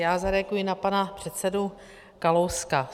Já zareaguji na pana předsedu Kalouska.